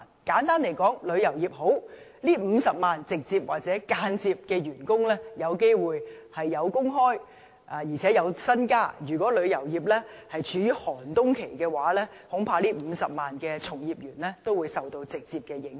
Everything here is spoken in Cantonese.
簡單來說，旅遊業好，這50萬名直接或間接員工便有工作機會，而且可以加薪，如果旅遊業處於寒冬期，這50萬名從業員恐怕都會受到直接影響。